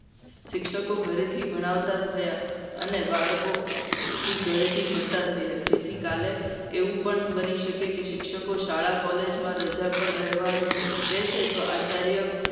શિક્ષકો ઘરેથી ભણાવતા થયા. અને બાળકોથી ઘરેથી ભણતા થયા છે. જેથી કાલે એવું પણ બની શકે. કે શિક્ષકો શાળા college માં રજા પર રહેવાનું કહે છે. તો આચાર્ય